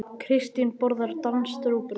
Kristín borðar danskt rúgbrauð.